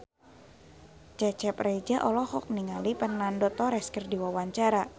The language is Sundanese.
Cecep Reza olohok ningali Fernando Torres keur diwawancara